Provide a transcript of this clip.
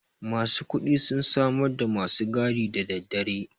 masu kuɗi sun samarda masu gadi daddadare